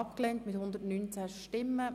Grüne [Sancar, Bern])